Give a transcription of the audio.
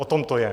O tom to je!